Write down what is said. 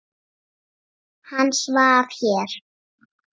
Hann svaf hér.